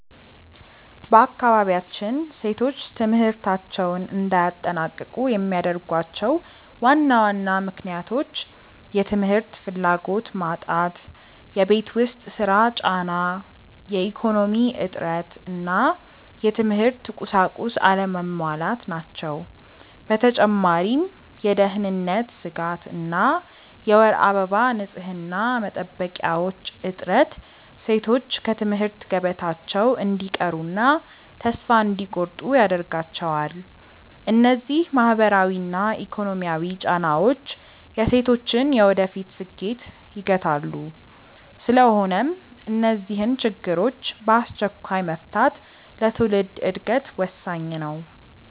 በአካባቢያችን ሴቶች ትምህርታቸውን እንዳያጠናቅቁ የሚያደርጓቸው ዋና ዋና ምክንያቶች፦ የ ትምህርት ፍላጎት መጣት የቤት ውስጥ ሥራ ጫና፣ የኢኮኖሚ እጥረት እና የትምህርት ቁሳቁስ አለመሟላት ናቸው። በተጨማሪም የደህንነት ስጋት እና የወር አበባ ንፅህና መጠበቂያዎች እጥረት ሴቶች ከትምህርት ገበታቸው እንዲቀሩና ተስፋ እንዲቆርጡ ያደርጋቸዋል። እነዚህ ማህበራዊና ኢኮኖሚያዊ ጫናዎች የሴቶችን የወደፊት ስኬት ይገታሉ። ስለሆነም እነዚህን ችግሮች በአስቸኳይ መፍታት ለትውልድ ዕድገት ወሳኝ ነው።